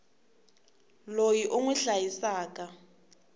loyi u n wi hlayisaka